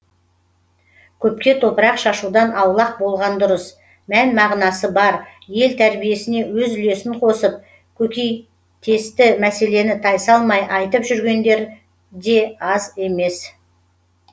көпке топырақ шашудан аулақ болған дұрыс мән мағынасы бар ел тәрбиесіне өз үлесін қосып көкейтесті мәселені тайсалмай айтып жүргендері де аз емес